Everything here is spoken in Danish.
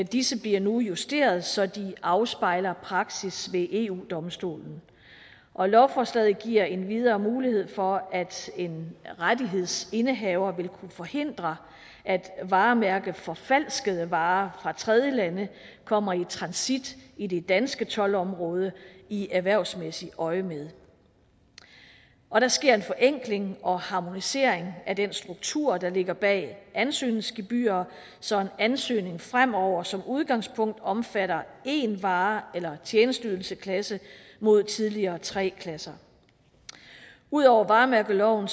disse bliver nu justeret så de afspejler praksis ved eu domstolen og lovforslaget giver endvidere mulighed for at en rettighedsindehaver vil kunne forhindre at varemærkeforfalskede varer fra tredjelande kommer i transit i det danske toldområde i erhvervsmæssigt øjemed og der sker en forenkling og harmonisering af den struktur der ligger bag ansøgningsgebyrer så en ansøgning fremover som udgangspunkt omfatter én vare eller tjenesteydelsesklasse mod tidligere tre klasser ud over varemærkeloven